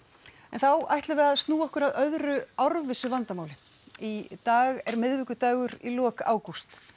þá ætlum við snúa okkur að öðru árvissu vandamáli í dag er miðvikudagur í lok ágúst